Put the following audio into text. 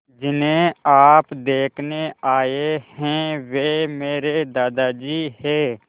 जिन्हें आप देखने आए हैं वे मेरे दादाजी हैं